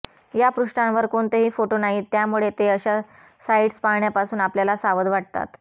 या पृष्ठांवर कोणतेही फोटो नाहीत त्यामुळे ते अशा साइट्स पाहण्यापासून आपल्याला सावध वाटतात